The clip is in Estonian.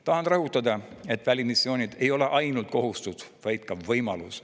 Tahan rõhutada, et välismissioonid ei ole ainult kohustus, vaid ka võimalus.